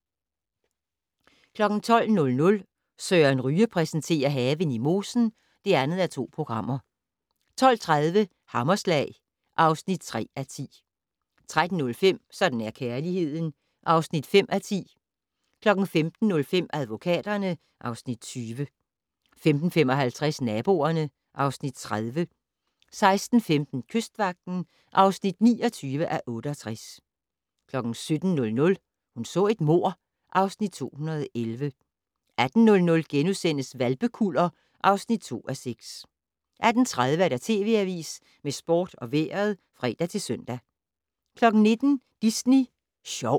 12:00: Søren Ryge præsenterer: Haven i mosen (2:2) 12:30: Hammerslag (3:10) 13:05: Sådan er kærligheden (5:10) 15:05: Advokaterne (Afs. 20) 15:55: Naboerne (Afs. 30) 16:15: Kystvagten (29:68) 17:00: Hun så et mord (Afs. 211) 18:00: Hvalpekuller (2:6)* 18:30: TV Avisen med sport og vejret (fre-søn) 19:00: Disney Sjov